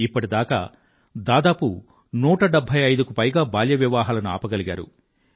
ఇప్పటిదాకా దాదాపు 175కు పైగా బాల్య వివాహాలను ఆపగలిగారు